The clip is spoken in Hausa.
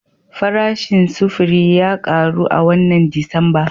Farashin sufuri ya karu a wannan Disamba